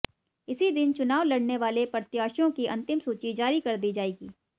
इसी दिन चुनाव लड़ने वाले प्रत्याशियों की अंतिम सूची जारी कर दी जाएगी